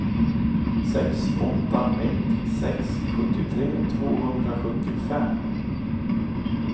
sex åtta ett sex sjuttiotre tvåhundrasjuttiofem